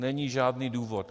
Není žádný důvod!